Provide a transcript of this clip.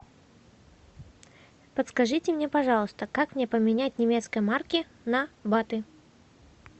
подскажите мне пожалуйста как мне поменять немецкие марки на баты